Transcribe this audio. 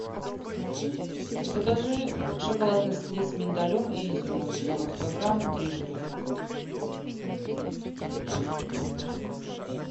закажи шоколад нестле с миндалем и изюмом девяносто грамм три штуки